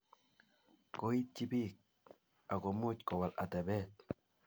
Koityi bik akomuch Kowal atebet